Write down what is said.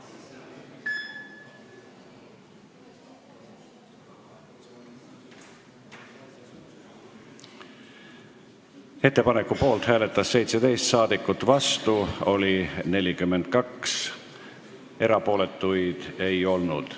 Hääletustulemused Ettepaneku poolt hääletas 17 saadikut, vastu oli 42, erapooletuid ei olnud.